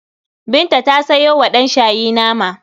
Binta ta sayo wa ɗanshayi nama.